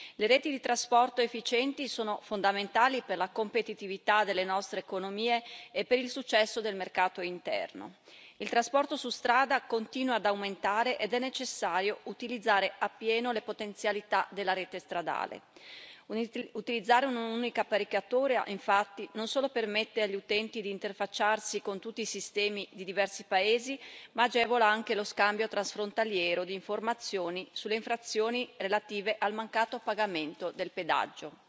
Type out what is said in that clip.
Le reti di trasporto efficienti sono fondamentali per la competitività delle nostre economie e per il successo del mercato interno. Il trasporto su strada continua ad aumentare ed è necessario utilizzare appieno le potenzialità della rete stradale. Utilizzare un'unica apparecchiatura, infatti, non solo permette agli utenti di interfacciarsi con tutti i sistemi di diversi paesi, ma agevola anche lo scambio transfrontaliero di informazioni sulle infrazioni relative al mancato pagamento del pedaggio.